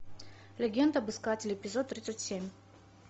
легенда об искателе эпизод тридцать семь